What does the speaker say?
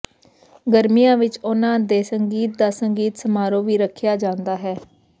ਗਰਮੀਆਂ ਵਿੱਚ ਉਨ੍ਹਾਂ ਦੇ ਸੰਗੀਤ ਦਾ ਸੰਗੀਤ ਸਮਾਰੋਹ ਵੀ ਰੱਖਿਆ ਜਾਂਦਾ ਹੈ